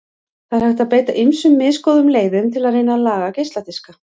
Það er hægt að beita ýmsum misgóðum leiðum til að reyna að laga geisladiska.